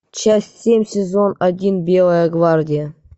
часть семь сезон один белая гвардия